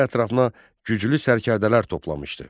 O ətrafına güclü sərkərdələr toplamışdı.